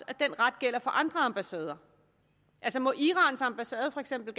at den ret gælder for andre ambassader må irans ambassade for eksempel